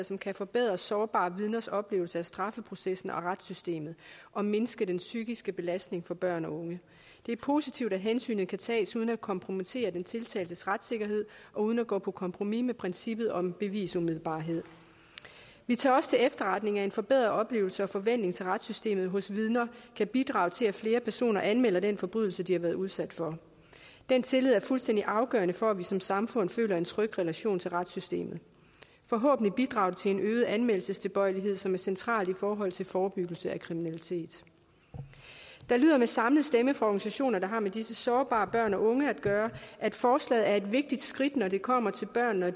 som kan forbedre sårbare vidners oplevelse af straffeprocessen og retssystemet og mindske den psykiske belastning for børn og unge det er positivt at hensynet kan tages uden at kompromittere den tiltaltes retssikkerhed og uden at gå på kompromis med princippet om bevisumiddelbarhed vi tager også til efterretning at en forbedret oplevelse af og forventning til retssystemet hos vidner kan bidrage til at flere personer anmelder den forbrydelse de har været udsat for den tillid er fuldstændig afgørende for at vi som samfund føler en tryg relation til retssystemet forhåbentlig bidrager det til en øget anmeldelsestilbøjelighed som er centralt i forhold til forebyggelse af kriminalitet det lyder med samlet stemme fra organisationer der har med disse sårbare børn og unge at gøre at forslaget er et vigtigt skridt når det kommer til børn og